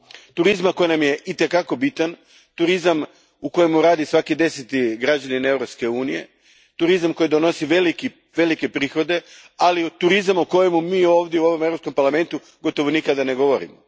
Turizma koji nam je itekako bitan, turizam u kojem radi svaki deseti građanin Europske unije, turizam koji donosi velike prihode, ali i turizam o kojemu mi ovdje u ovom Europskom parlamentu gotovo nikada ne govorimo.